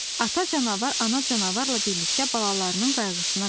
Ata canavar ana canavarla birlikdə balalarının qayğısına qalır.